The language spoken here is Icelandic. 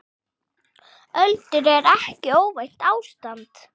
Öldrun er ekki óvænt ástand.